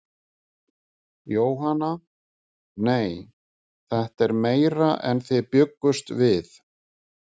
Jóhanna: Nei, þetta er meira en þið bjuggust við?